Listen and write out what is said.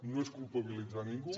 no és culpabilitzar a ningú